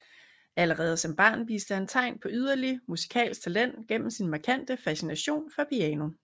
Allerede som barn viste han tegn på yderlig musikalsk talent gennem sin markante fascination for piano